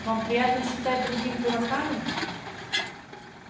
вам приятно считать других дураками